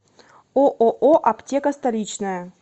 ооо аптека столичная